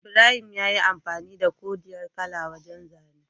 Ibrahim yayi amfani da koriyar kala wajan zane